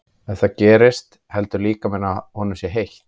Ef það gerist heldur líkaminn að honum sé heitt.